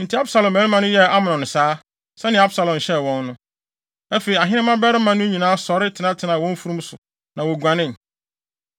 Enti Absalom mmarima no yɛɛ Amnon saa, sɛnea Absalom hyɛɛ wɔn no. Afei, ahene mmabarima no nyinaa sɔre tenatenaa wɔn mfurum so, na woguanee.